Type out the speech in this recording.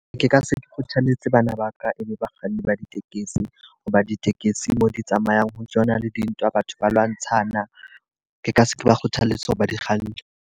Ke ka se kgothalletse bana ba ka e be bakganni ba ditekesi, ho ba ditekesi mo di tsamayang ho tsona le dintwa, batho ba lwantshana. Ke ka se ke ba kgothalletse hore ba di kganne.